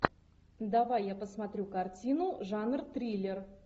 давай я посмотрю картину жанр триллер